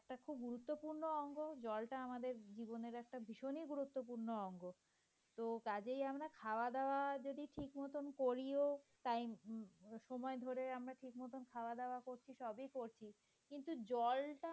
তো জলটা আমাদের জীবনের ভীষণই একটা গুরুত্বপূর্ণ অংগ। তো কাজেই আমরা খাওয়া দাওয়া যদি ঠিকমতো করিও time সময় ধরে আমরা ঠিকমতো খাওয়া-দাওয়া করছি সবই করছি। কিন্তু জলটা